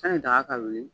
Sani daga ka wuli